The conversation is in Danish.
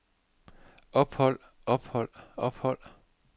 ophold ophold ophold